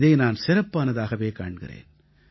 இதை நான் சிறப்பானதாகவே காண்கிறேன்